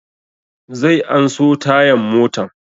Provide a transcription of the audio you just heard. Zai an so tayan motan